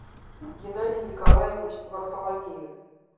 геннадий николаевич варфоломеев